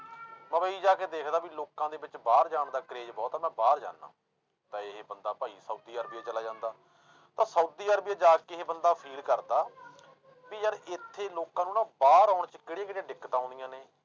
ਮੁੰਬਈ ਜਾ ਕੇ ਦੇਖਦਾ ਵੀ ਲੋਕਾਂ ਦੇ ਵਿੱਚ ਬਾਹਰ ਜਾਣ ਦਾ craze ਬਹੁਤ ਆਂ ਮੈਂ ਬਾਹਰ ਜਾਨਾ, ਤਾਂ ਇਹ ਬੰਦਾ ਭਾਈ ਸਾਊਦੀ ਅਰਬੀ 'ਚ ਚਲਾ ਜਾਂਦਾ, ਤਾਂ ਸਾਊਦੀ ਅਰਬੀ 'ਚ ਜਾ ਕੇ ਇਹ ਬੰਦਾ feel ਕਰਦਾ ਵੀ ਯਾਰ ਇੱਥੇ ਲੋਕਾਂ ਨੂੰ ਨਾ ਬਾਹਰ ਆਉਣ 'ਚ ਕਿਹੜੀਆਂ ਕਿਹੜੀਆਂ ਦਿੱਕਤਾਂ ਆਉਂਦੀਆਂ ਨੇ,